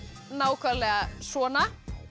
nákvæmlega svona